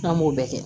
N'an m'o bɛɛ kɛ